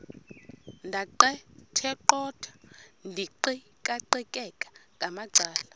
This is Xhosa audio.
ndaqetheqotha ndiqikaqikeka ngamacala